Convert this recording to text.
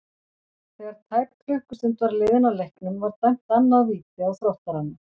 Þegar tæp klukkustund var liðin af leiknum var dæmt annað víti á Þróttarana.